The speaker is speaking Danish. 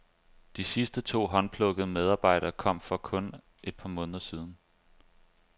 De sidste to håndplukkede medarbejdere kom for kun et par måneder siden.